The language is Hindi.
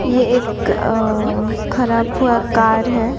ये एक अ खराब हुआ कार है।